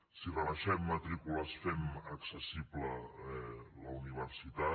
si rebaixem matrícules fem accessible la universitat